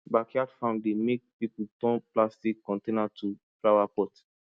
backyard farm dey make people turn plastic container to flower pot